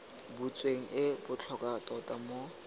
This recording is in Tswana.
butsweng e botlhokwa tota mo